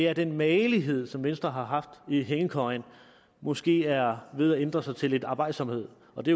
at den magelighed som venstre har haft i hængekøjen måske er ved at ændre sig til lidt arbejdsomhed og det